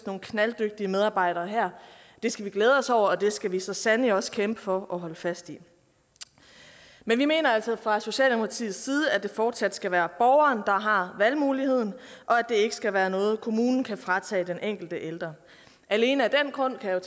nogle knalddygtige medarbejdere her det skal vi glæde os over og det skal vi så sandelig også kæmpe for at holde fast i men vi mener altså fra socialdemokratiets side at det fortsat skal være borgeren der har valgmuligheden og at det ikke skal være noget kommunen kan fratage den enkelte ældre alene af den grund kan jeg